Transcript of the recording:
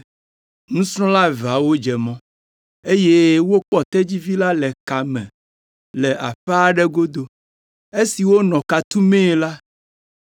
Nusrɔ̃la eveawo dze mɔ, eye wokpɔ tedzivi la le ka me le aƒe aɖe godo. Esi wonɔ ka tumee la,